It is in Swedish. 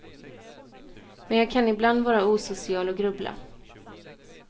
Men jag kan ibland vara osocial och grubbla.